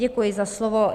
Děkuji za slovo.